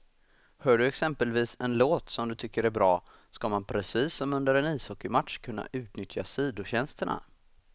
Hör du exempelvis en låt som du tycker är bra, ska man precis som under en ishockeymatch kunna utnyttja sidotjänsterna.